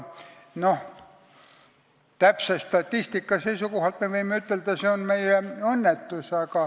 Täpse statistika seisukohalt me võime ütelda, et see on meie õnnetus.